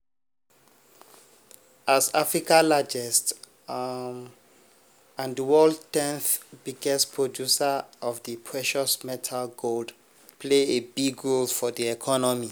as africa largest –– and di world 10th biggest – producer of di precious metal gold play a big role for di economy.